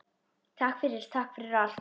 Takk fyrir, takk fyrir allt.